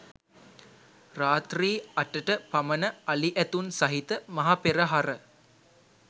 රාත්‍රී අටට පමණ අලි ඇතුන් සහිත මහ පෙරහර